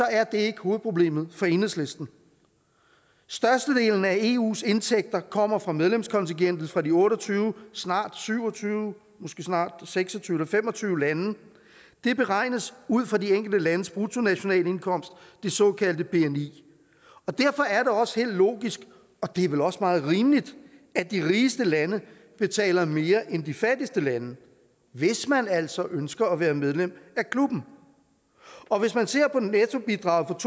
er det ikke hovedproblemet for enhedslisten størstedelen af eus indtægter kommer fra medlemskontingentet fra de otte og tyve snart syv og tyve måske snart seks og tyve eller fem og tyve lande det beregnes ud fra de enkelte landes bruttonationalindkomst det såkaldte bni og derfor er det også helt logisk og det er vel også meget rimeligt at de rigeste lande betaler mere end de fattigste lande hvis man altså ønsker at være medlem af klubben og hvis man ser på nettobidraget